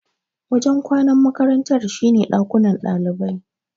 Wajen kwanan makarantar shine dakunan ɗalibai.